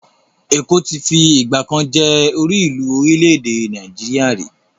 Èkó ti fi ìgbàkan jẹ́ orílùú orílẹ́-èdè Nàìjíríà rí.